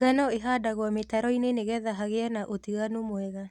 Ngano ĩhandagwo mĩtaroinĩ nĩgetha hagie na ũtiganu mwega.